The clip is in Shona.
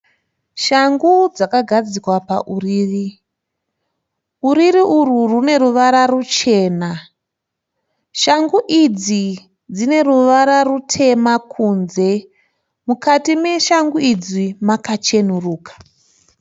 Shangu dzakagadzikwa pauriri. Uriri urwu rwuneruvara ruchena. Shangu idzi dzineruvara rutema kunze. Mukati meshangu idzi makachenuruka.